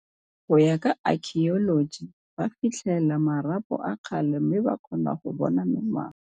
Go ya ka akhioloji, ba fitlhêla marapo a kgale mme ba kgona go bona mengwaga.